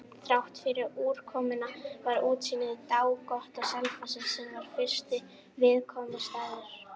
Þráttfyrir úrkomuna var útsýni dágott á Selfossi, sem var fyrsti viðkomustaður.